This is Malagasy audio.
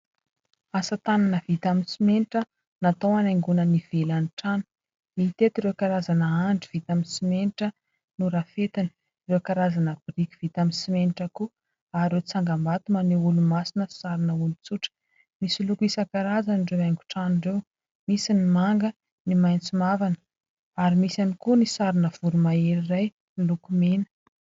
Asa tanana vita amin' ny simenitra natao hanaingona ny ivelan' ny trano. Mitety ireo karazana andry vita amin' ny simenitra norafetana, ireo karazana biriky vita amin' ny simenitra koa ary ireo tsangam-bato maneho olomasina sy sarina olon-tsotra. Misy loko isan-karazana ireo haingo-trano ireo : misy ny manga, ny maitso mavana ary misy ihany koa ny sarina voro-mahery iray miloko mena.